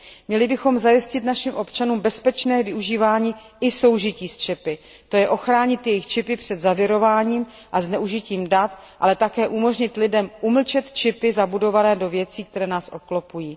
Měli bychom našim občanům zajistit bezpečné využívání i soužití s čipy, to je ochránit jejich čipy před zavirováním a zneužitím dat, ale také umožnit lidem umlčet čipy zabudované do věcí, které nás obklopují.